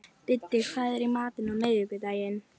Biddi, hvað er í matinn á miðvikudaginn?